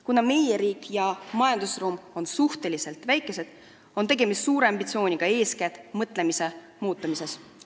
Kuna meie riik ja majandusruum on suhteliselt väikesed, on tegemist suure ambitsiooniga, eeskätt mõtlemise muutumises.